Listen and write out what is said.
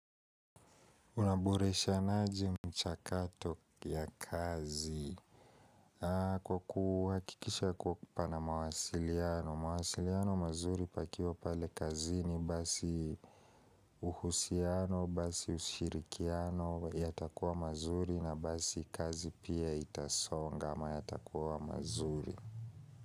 Unaboreshanaje mchakato ya kazi? Kwa kuhakikisha kwa kupo na mawasiliano. Mawasiliano mazuri pakiwa pale kazini basi uhusiano basi ushirikiano yatakuwa mazuri na basi kazi pia itasonga ama yatakuwa mazuri.